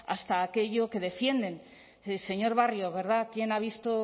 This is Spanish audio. hasta aquello que defienden señor barrio verdad quién ha visto